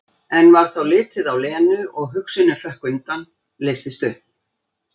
En varð þá litið á Lenu og hugsunin hrökk undan, leystist upp.